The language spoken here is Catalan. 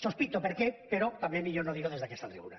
sospito per què però també millor no dir ho des d’aquesta tribuna